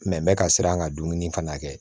Mɛ n bɛ ka siran ka dumuni fana kɛ